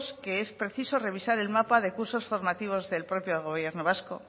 que es preciso revisar el mapa de cursos formativos del propio gobierno vasco